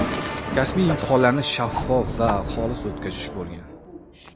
kasbiy imtihonlarni shaffof va xolis o‘tkazish bo‘lgan.